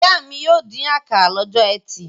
Ìyá mi yóò dín àkàrà lọ́jọ́ ẹtì.